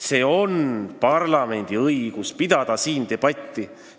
See on parlamendi õigus – pidada siin debatti.